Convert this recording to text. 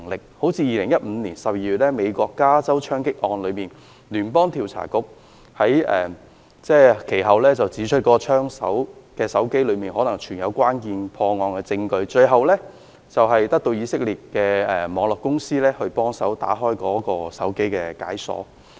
美國加州在2015年12月發生槍擊案，聯邦調查局其後指出，槍手的手機中可能存有關鍵的破案證據，最後在得到以色列一家網絡安全公司的協助下，將該手機解鎖。